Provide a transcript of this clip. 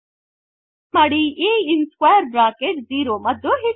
ಹಾಗಾಗಿ ಟೈಪ್ ಮಾಡಿ a in square bracket zero ಮತ್ತು ಹಿಟ್ enter